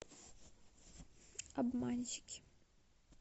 обманщики